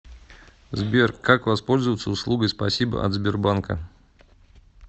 сбер как воспользоваться услугой спасибо от сбербанка